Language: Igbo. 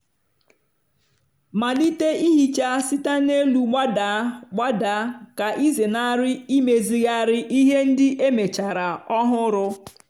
malite ihicha site n'elu gbadaa gbadaa ka ịzenarị imezigharị ihe ndị emechara ọhụrụ.